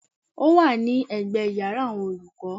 Ó wà ní ẹ̀gbẹ́ yàrá àwọn olùkọ́.